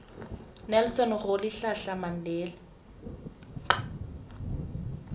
nelson rolihlahla mandela